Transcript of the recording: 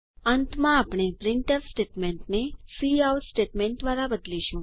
અંતમાં આપણે પ્રિન્ટફ સ્ટેટમેન્ટને કાઉટ સ્ટેટમેન્ટ દ્વારા બદલીશું